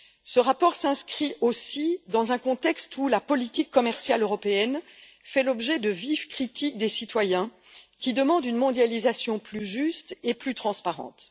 Ce rapport s'inscrit aussi dans un contexte où la politique commerciale européenne fait l'objet de vives critiques des citoyens qui demandent une mondialisation plus juste et plus transparente.